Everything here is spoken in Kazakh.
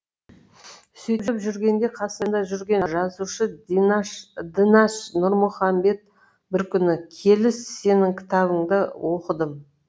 сөйтіп жүргенде қасымда жүрген жазушы дінаш нұрмұхамбет бір күні келіс сенің кітабыңды оқыдым